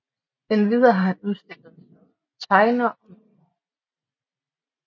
Endvidere har han udstillet som tegner og maler